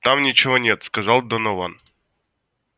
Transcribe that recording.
там ничего нет сказал донован